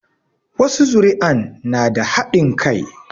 Wasu zuri'an na da haɗin kai